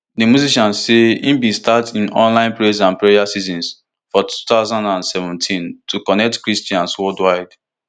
di musician say e bin start im online praise and prayer sessions for two thousand and seventeen to connect christians worldwide